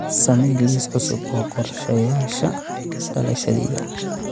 samee liis cusub oo qorshayaasha dhalashadayda